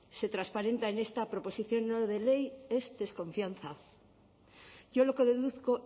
se transparenta en esta proposición no de ley es desconfianza yo lo que deduzco